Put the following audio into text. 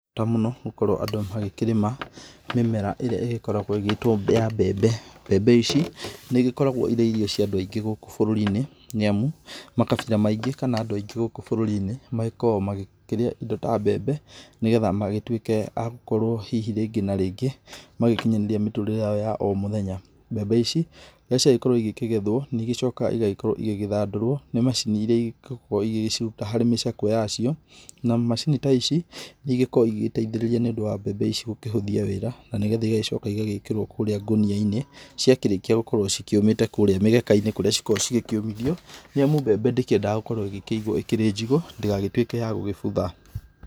He bata mũno gũkorwo andũ magĩkĩrĩma mĩmera ĩrĩa ĩgĩkoragwo ĩgĩtwo ya mbembe. Mbembe ici nĩigĩkoragwo irĩ irio cia andũ aingĩ gũkũ bũrũri-inĩ, nĩamu makabira maingi kana andũ aingĩ gũkũ bũrũri-inĩ magĩkoragwo magĩkĩrĩa indo ta mbembe ni getha magĩtuĩke a gũkorwo hihi rĩngĩ na rĩngĩ magĩkinyanĩria mĩtũrĩre yao ya o mũthenya. Mbembe ici rĩrĩa ciagĩkorwo ikĩgethwo nĩigĩcokaga igagĩkorwo igĩgĩthandũrwo nĩ macini iria igĩkoragwo igĩgĩciruta harĩ micakwe yacio. Na macini ta ici igĩkoragwo igĩgĩteithĩrĩria nĩ ũndũ wa mbembe ici gũkĩhũthia wĩra, na nĩ getha igagĩcoka ĩgagĩkĩrwo kũrĩa ngũnia-inĩ ciakĩrĩkia gũkorwo cikĩũmĩte kũrĩa mĩgeka-inĩ kũrĩa cikoragwo cigĩkĩũmithio, nĩ amu mbembe ndĩkĩendaga gũkorwo ĩgĩkĩigwo ĩrĩ njigũ, ndĩgagĩtwĩke ya gũgĩbutha.